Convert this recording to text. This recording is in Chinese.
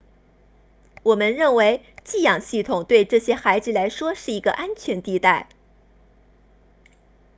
我们认为寄养系统对这些孩子来说是一个安全地带